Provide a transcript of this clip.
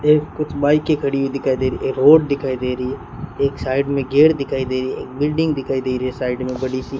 ये कुछ बाईकें खड़ी हुई दिखाई दे रही है एक रोड दिखाई दे रही है एक साइड में गेट दिखाई दे रही है बिल्डिंग दिखाई दे रही है साइड में बड़ी सी।